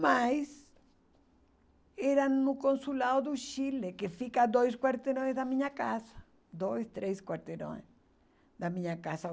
Mas era no Consulado do Chile, que fica a dois quarteirões da minha casa, dois, três quarteirões da minha casa.